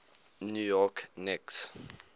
new york knicks